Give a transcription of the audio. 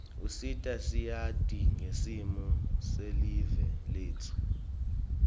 usita siati ngesimo selive letfu